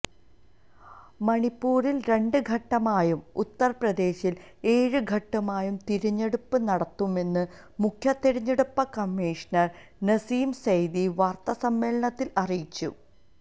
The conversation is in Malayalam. മണിപ്പൂരില് രണ്ട് ഘട്ടമായും ഉത്തര്പ്രദേശില് എഴ് ഘട്ടമായും തിരഞ്ഞെടുപ്പ് നടത്തുമെന്ന് മുഖ്യതിരഞ്ഞെടുപ്പ് കമ്മീഷണര് നസീം സെയ്ദി വാര്ത്താസമ്മേളനത്തില് അറിയിച്ചു